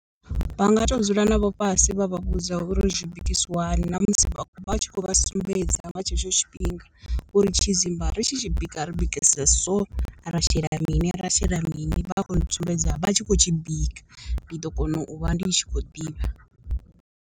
Vha nga to dzula navho fhasi vha vha vhudza uri zwi bikisiwa hani na musi vha tshi khou vha sumbedza nga tshetsho tshifhinga, uri tshidzimba ri tshi tshi bika ri bikisa so ra shela ra shela mini vha khou sumbedza vha tshi khou tshi bika, ndi ḓo kona u vha ndi tshi khou ḓivha.